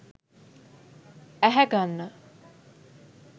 ඇහැ ගන්න